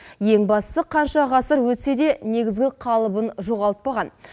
ең бастысы қанша ғасыр өтсе де негізгі қалыбын жоғалтпаған